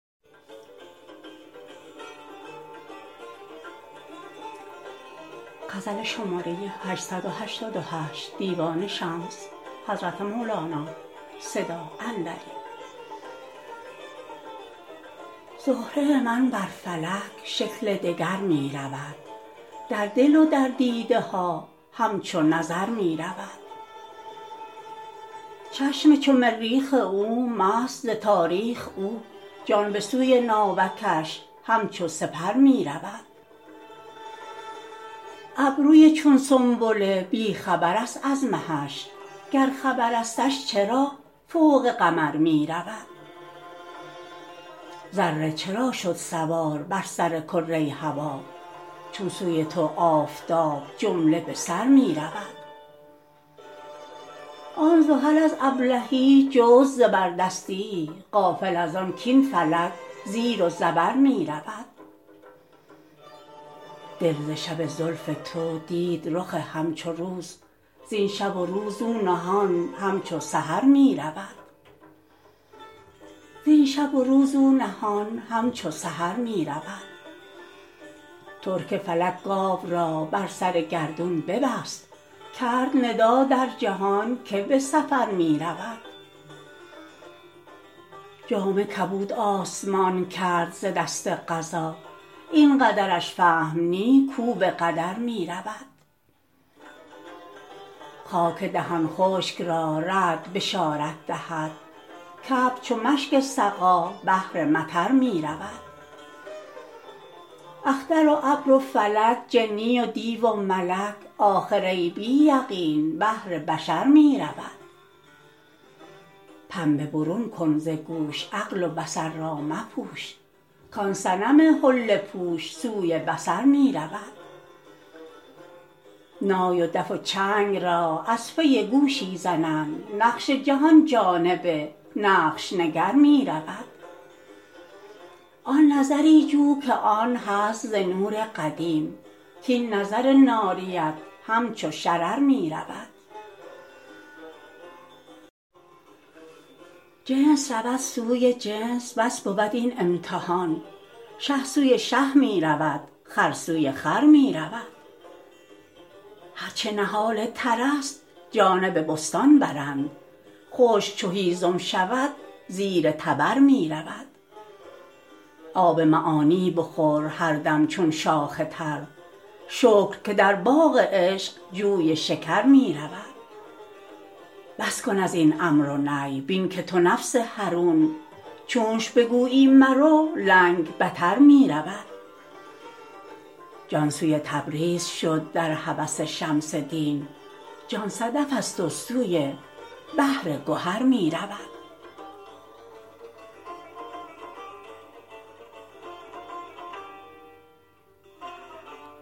زهره من بر فلک شکل دگر می رود در دل و در دیده ها همچو نظر می رود چشم چو مریخ او مست ز تاریخ او جان به سوی ناوکش همچو سپر می رود ابروی چون سنبله بی خبرست از مهش گر خبرستش چرا فوق قمر می رود ذره چرا شد سوار بر سر کره هوا چون سوی تو آفتاب جمله به سر می رود آن زحل از ابلهی جست زبردستیی غافل از آن کاین فلک زیر و زبر می رود دل ز شب زلف تو دید رخ همچو روز زین شب و روز او نهان همچو سحر می رود ترک فلک گاو را بر سر گردون ببست کرد ندا در جهان کی به سفر می رود جامه کبود آسمان کرد ز دست قضا این قدرش فهم نی کو به قدر می رود خاک دهان خشک را رعد بشارت دهد کابر چو مشک سقا بهر مطر می رود اختر و ابر و فلک جنی و دیو و ملک آخر ای بی یقین بهر بشر می رود پنبه برون کن ز گوش عقل و بصر را مپوش کان صنم حله پوش سوی بصر می رود نای و دف و چنگ را از پی گوشی زنند نقش جهان جانب نقش نگر می رود آن نظری جو که آن هست ز نور قدیم کاین نظر ناریت همچو شرر می رود جنس رود سوی جنس بس بود این امتحان شه سوی شه می رود خر سوی خر می رود هر چه نهال ترست جانب بستان برند خشک چو هیزم شود زیر تبر می رود آب معانی بخور هر دم چون شاخ تر شکر که در باغ عشق جوی شکر می رود بس کن از این امر و نهی بین که تو نفس حرون چونش بگویی مرو لنگ بتر می رود جان سوی تبریز شد در هوس شمس دین جان صدفست و سوی بحر گهر می رود